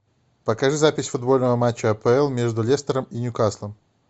покажи запись футбольного матча апл между лестером и ньюкаслом